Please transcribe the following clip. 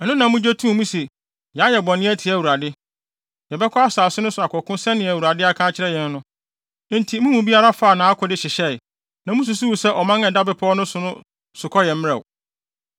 Ɛno na mugye too mu se “Yɛayɛ bɔne atia Awurade. Yɛbɛkɔ asase no so akɔko sɛnea Awurade aka akyerɛ yɛn no.” Enti mo mu biara faa nʼakode hyehyɛe. Na mususuwii sɛ ɔman a ɛda bepɔw so no sokɔ yɛ mmerɛw.